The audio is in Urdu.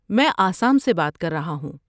میں آسام سے بات کر رہا ہوں۔